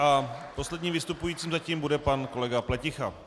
A posledním vystupujícím zatím bude pan kolega Pleticha.